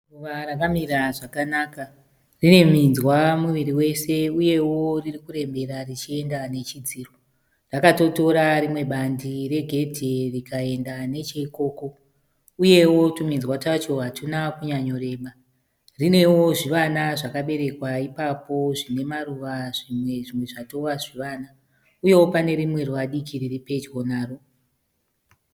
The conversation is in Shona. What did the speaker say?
Ruva rakamira zvakanaka, rine minzwa muviri wese uyewo riri kurembera richienda nechidziro. Rakatotora rimwe bandi regedhi rikaenda necheikoko uyewo tuminzwa twacho hatuna kunyanyoreba. Rinewo zvivana zvakaberekwa ipapo zvine maruva zvimwe, zvimwe zvatova zvivana uyewo pane rimwe ruva diki riri pedyo naro.